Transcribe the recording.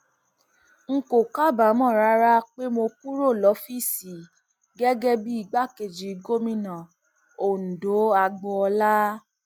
n kò kábàámọ rárá pé mo kúrò lọfíìsì gẹgẹ bíi igbákejì gómìnà ọǹdọagboola